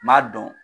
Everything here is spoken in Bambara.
N m'a dɔn